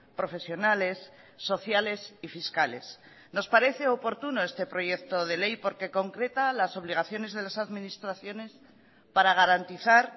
profesionales sociales y fiscales nos parece oportuno este proyecto de ley porque concreta las obligaciones de las administraciones para garantizar